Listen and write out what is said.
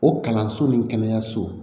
O kalanso ni kɛnɛyaso